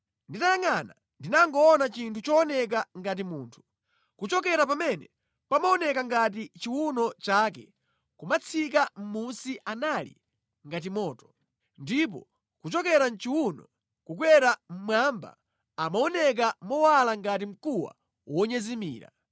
Nditayangʼana ndinangoona chinthu chooneka ngati munthu. Kuchokera pamene pamaoneka ngati chiwuno chake kumatsika mʼmunsi anali ngati moto, ndipo kuchokera mʼchiwuno kukwera mmwamba amaoneka mowala ngati mkuwa wonyezimira.